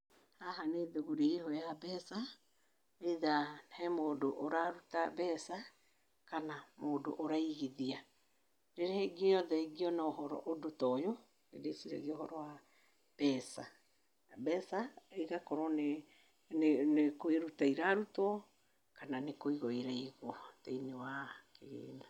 Haha nĩ thũgũri ĩyo ya mbeca, either he mũndũ ũraruta mbeca, kana mũndũ ũraigithia. Rĩrĩa rĩothe ingĩona ũndũ ta ũyũ, nĩndĩciragia ũhoro wa mbeca. Mbeca igakorwo nĩ nĩ nĩ kũrutwo irarutwo kana nĩkũigwo iraigwo thĩiniĩ wa kĩgĩna.